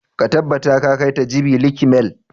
Ka tabbata ka kai ta jabi lake mall!